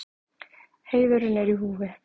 Heiðurinn er í húfi.